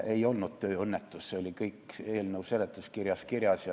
Ei olnud tööõnnetus, see oli kõik eelnõu seletuskirjas kirjas.